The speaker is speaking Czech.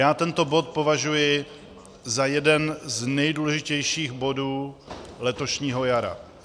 Já tento bod považuji za jeden z nejdůležitějších bodů letošního jara.